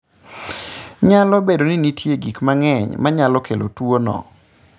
Nyalo bedo ni nitie gik mang'eny ma nyalo kelo tuwono.